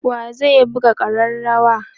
wa zai buga karrawar?